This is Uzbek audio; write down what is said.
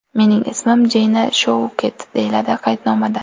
Mening ismim Jeyna Shouket”, deyiladi qaydnomada.